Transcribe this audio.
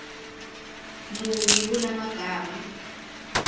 muni kula magama